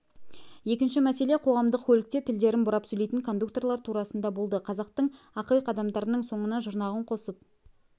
екінші мәселе қоғамдық көлікте тілдерін бұрап сөйлейтін кондукторлар турасында болды қазақтың ақиқ адамдарының соңына жұрнағын қосып